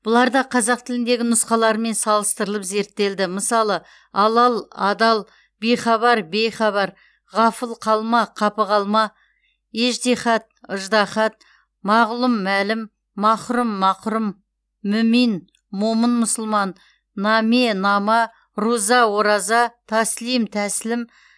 бұлар да қазақ тіліндегі нұсқаларымен салыстырылып зерттелді мысалы алал адал бихабар бейхабар ғафыл қалма қапы қалма ежтиһат ыждағат мағлұм мәлім махрұм мақұрым мү мин момын мұсылман наме нама руза ораза таслим тәсілім